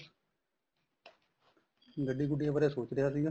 ਗੱਡੀ ਗੁੱਡੀਆਂ ਬਾਰੇ ਸੋਚ ਰਿਹਾ ਸੀ